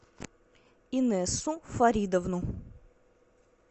инессу фаридовну